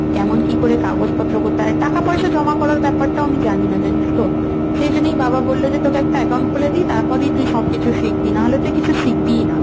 কেমন কি করে কাগজপত্র কোথায়? টাকা-পয়সার জমা করার ব্যাপারটাও আমি জানিনা, জানিস তো, সেই জন্যই বাবা বলল যে তোকে আমি একটা account খুলে দিই তারপরেই তুই সব কিছু শিখবি। না হলে তুই কিছু শিখবিই না।